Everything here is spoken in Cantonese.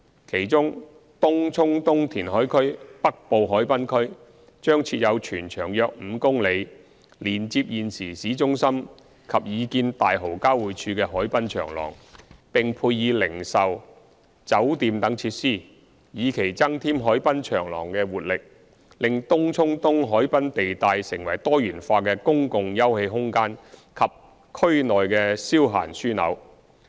其中，東涌東填海區北部海濱區，將設有全長約5公里、連接現時市中心及擬建大蠔交匯處的海濱長廊，並配以零售、酒店等設施，以期增添海濱長廊的活力，令東涌東海濱地帶成為多元化的公共休憩空間及區內消閒樞紐。